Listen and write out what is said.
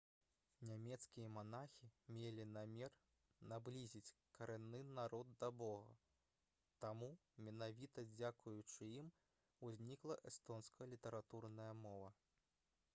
нямецкія манахі мелі намер наблізіць карэнны народ да бога таму менавіта дзякуючы ім узнікла эстонская літаратурная мова